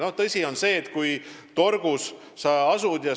Võtame näiteks sellesama Saaremaa.